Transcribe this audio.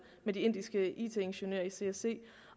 med de indiske it ingeniører i csc